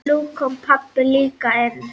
Nú kom pabbi líka inn.